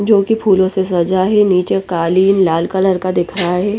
जो की फूलो से सजा है नीचे कालीन लाल कलर का दिख रहा है।